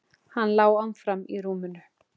Hann lá áfram í rúminu.